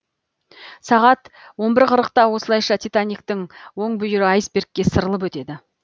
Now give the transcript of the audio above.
жиырма үш қырытқа осылайша титаниктің оң бүйірі айсбергке сырылып өтеді